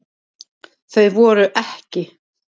Þau voru EKKI.